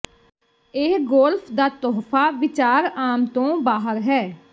ਇਹ ਗੋਲਫ ਦਾ ਤੋਹਫ਼ਾ ਵਿਚਾਰ ਆਮ ਤੋਂ ਬਾਹਰ ਹੈ